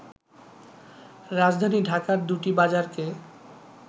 রাজধানী ঢাকার দুটি বাজারকে